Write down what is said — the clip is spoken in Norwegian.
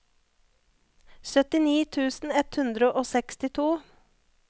syttini tusen ett hundre og sekstito